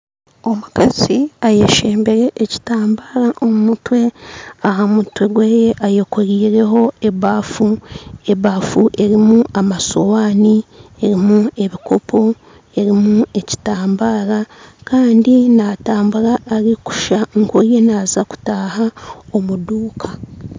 Omukazi ayeshembere ekitambara omu mutwe aha mutwe gweye ayekorireho ebafu ebafu erimu amasowamu erimu ebikopo erimu ekitambara kandi natambura arikusha nkori naza kutaha omu duka